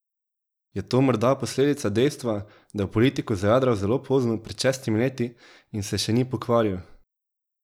Je to morda posledica dejstva, da je v politiko zajadral zelo pozno, pred šestimi leti, in se še ni pokvaril?